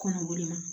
Kɔnɔboli ma